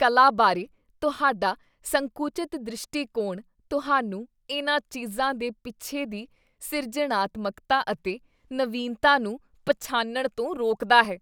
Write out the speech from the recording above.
ਕਲਾ ਬਾਰੇ ਤੁਹਾਡਾ ਸੰਕੁਚਿਤ ਦ੍ਰਿਸ਼ਟੀਕੋਣ ਤੁਹਾਨੂੰ ਇਨ੍ਹਾਂ ਚੀਜ਼ਾਂ ਦੇ ਪਿੱਛੇ ਦੀ ਸਿਰਜਣਾਤਮਕਤਾ ਅਤੇ ਨਵੀਨਤਾ ਨੂੰ ਪਛਾਣਨ ਤੋਂ ਰੋਕਦਾ ਹੈ।